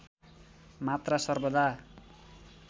मात्रा सर्वदा